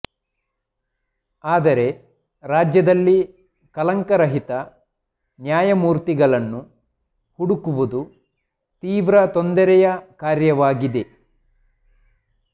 ಆದರೆ ರಾಜ್ಯದಲ್ಲಿ ಕಳಂಕರಹಿತ ನ್ಯಾಯಮೂರ್ತಿಗಳನ್ನು ಹುಡುಕುವುದು ತೀವ್ರ ತೊಂದರೆಯ ಕಾರ್ಯವಾಗಿದೆ